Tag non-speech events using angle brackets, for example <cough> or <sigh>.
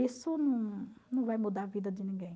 Isso <unintelligible> não vai mudar a vida de ninguém.